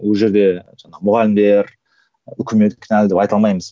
ол жерде жаңағы мұғалімдер үкімет кінәлі деп айта алмаймыз